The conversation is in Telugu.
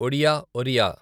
ఒడియా ఒరియా